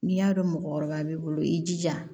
N'i y'a dɔn mɔgɔkɔrɔba b'i bolo i jija